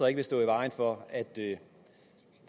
ikke stå i vejen for at det